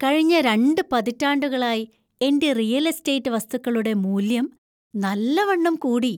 കഴിഞ്ഞ രണ്ട് പതിറ്റാണ്ടുകളായി എന്‍റെ റിയൽ എസ്റ്റേറ്റ് വസ്തുക്കളുടെ മൂല്യം നല്ലവണ്ണം കൂടി.